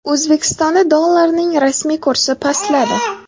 O‘zbekistonda dollarning rasmiy kursi pastladi.